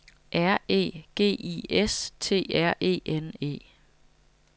R E G I S T R E N E